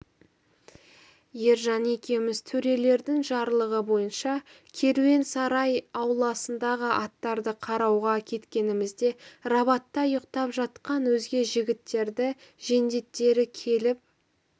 ержан екеуміз төрелердің жарлығы бойынша керуен сарай ауласындағы аттарды қарауға кеткенімізде рабатта ұйықтап жатқан өзге жігіттерді жендеттері келіп